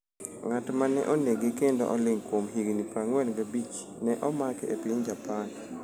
Ng’at ma ne onege kendo oling’ kuom higni 45, ne omake e piny Japan .